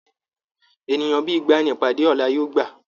Ènìyàn bíi igba ní ìpàdé ọlá yóò gbà.